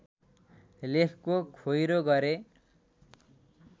लेखको खोइरो गरे